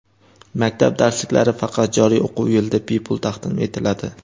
Maktab darsliklari faqat joriy o‘quv yilida bepul taqdim etiladi.